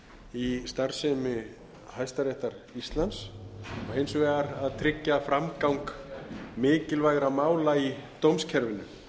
í starfsemi hæstaréttar íslands og hins vegar að tryggja framgang mikilvægra mála í dómskerfinu